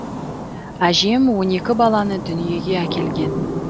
әжем он екі баланы дүниеге әкелген